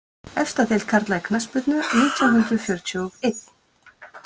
Efsta deild karla í knattspyrnu nítján hundrað fjörutíu og einn